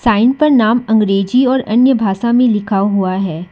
Sign पर नाम अंग्रेजी और अन्य भाषा में लिखा हुआ है।